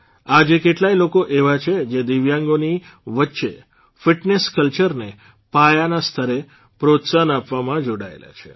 આજે કેટલાય લોકો એવા છે જે દિવ્યાંગોની વચ્ચે ફીટનેસ કલ્ચરને પાયાના સ્તરે પ્રોત્સાહન આપવામાં જોડાયેલા છે